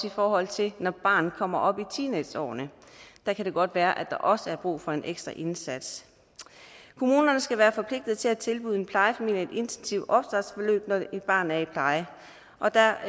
i forhold til når et barn kommer op i teenageårene der kan det godt være at der også er brug for en ekstra indsats kommunerne skal være forpligtet til at tilbyde en plejefamilie et intensivt opstartsforløb når et barn er i pleje og der